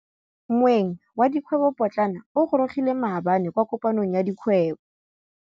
Moêng wa dikgwêbô pôtlana o gorogile maabane kwa kopanong ya dikgwêbô.